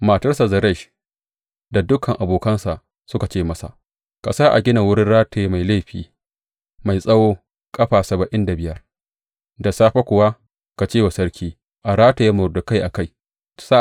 Matarsa Zeresh, da dukan abokansa suka ce masa, Ka sa a gina wurin rataye mai laifi, mai tsawo, ƙafa saba’in da biyar, da safe kuwa ka ce wa sarki a rataye Mordekai a kansa.